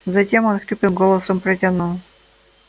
затем он хриплым голосом протянул